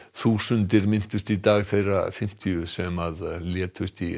þúsundir minntust í dag þeirra fimmtíu sem létust í